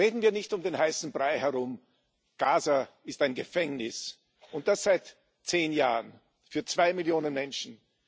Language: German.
Reden wir nicht um den heißen Brei herum Gaza ist ein Gefängnis und das seit zehn Jahren für zwei Millionen Menschen.